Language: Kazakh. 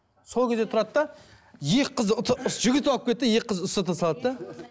сол кезде тұрады да екі қызды жүгіртіп әкеледі де екі қызды ұстата салады да